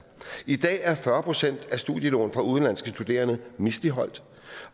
i dag er fyrre procent af studielån for udenlandske studerende misligholdt